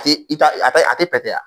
i ta a tɛ pɛtɛ wa?